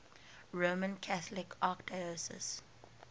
roman catholic archdiocese